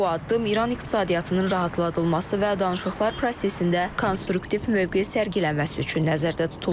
Bu addım İran iqtisadiyyatının rahatladılması və danışıqlar prosesində konstruktiv mövqe sərgilənməsi üçün nəzərdə tutulur.